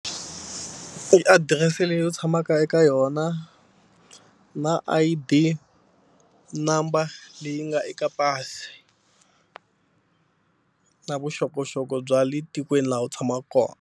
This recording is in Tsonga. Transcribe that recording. I adirese leyi u tshamaka eka yona na I_D number leyi nga eka pasi na vuxokoxoko bya le tikweni laha u tshamaka kona.